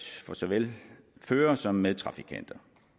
for såvel fører som medtrafikanter